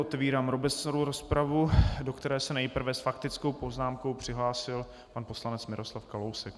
Otevírám obecnou rozpravu, do které se nejprve s faktickou poznámkou přihlásil pan poslanec Miroslav Kalousek.